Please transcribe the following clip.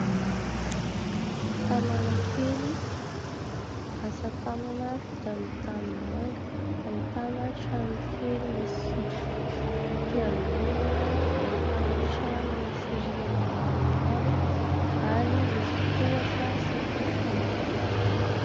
Tanàna kely asatanana vita amin'ny tanimanga ahitana trano kely misy fiangonana, ahitana trano misy rihana maromaro ary misy tohatra sy fefy manodidina azy.